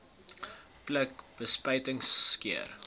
pluk bespuiting skeer